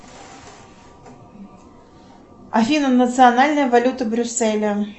афина национальная валюта брюсселя